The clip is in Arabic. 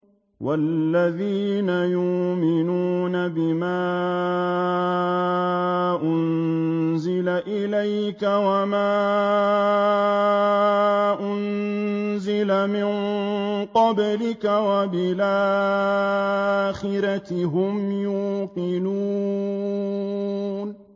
وَالَّذِينَ يُؤْمِنُونَ بِمَا أُنزِلَ إِلَيْكَ وَمَا أُنزِلَ مِن قَبْلِكَ وَبِالْآخِرَةِ هُمْ يُوقِنُونَ